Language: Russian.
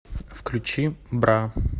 включи бра